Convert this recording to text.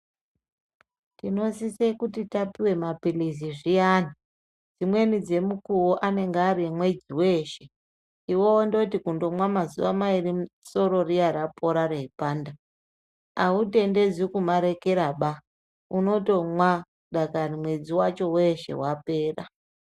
Tinosise kuti tapuwe maphilizi zviyani dzimweni dzemukuwo anenge ari emwedzi weeshe iwe wondoti kungomwa mazuwa mairi soro riya rapora raipanda, autendedzwi kumarekera baa unotomwa dakani mwedzi wacho weshe wapera.